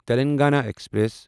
Telangana express